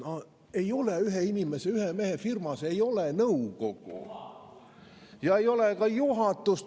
" Üheinimese, ühemehefirmas ei ole nõukogu ja ei ole ka juhatust.